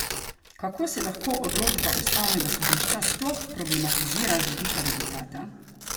Kako se lahko odločba ustavnega sodišča sploh problematizira z vidika rezultata?